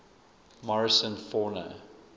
morrison fauna